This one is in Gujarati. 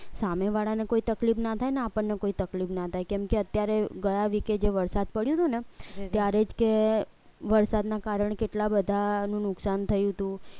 સામેવાળાને કોઈ તકલીફ ના થાય ને આપણને કોઈ તકલીફ ના થાય કેમકે અત્યારે ગયા week કે જે વરસાદ પડ્યો ને ત્યારે જ કે વરસાદના કારણે કેટલા બધાનું નુકસાન થયું હતું